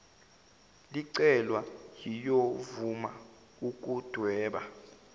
licelwa liyovuma ukudweba